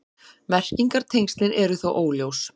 Merkingartengslin eru þó óljós.